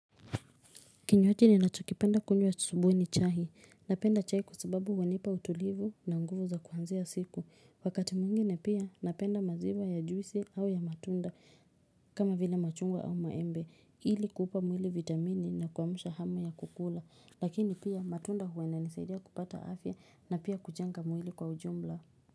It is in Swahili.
Kinywaji ninachokipenda kunywa asubuhi ni chai. Kinywaji ninacho kipenda kunywa asubuhi ni chai. Wakati mwingine pia napenda maziwa ya jusii au ya matunda kama vile machungwa au maembe. Ili kuupa mwili vitamini na kuamsha hamu ya kukula. Lakini pia matunda huwa inanisaidia kupata afya na pia kujenga mwili kwa ujumbla.